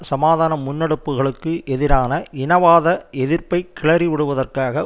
சமாதான முன்னெடுப்புகளுக்கு எதிரான இனவாத எதிர்ப்பை கிளறி விடுவதற்காக